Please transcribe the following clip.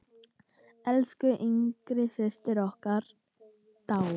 Elsku yngsta systir okkar dáin.